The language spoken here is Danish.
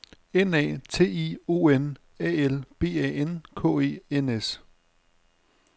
N A T I O N A L B A N K E N S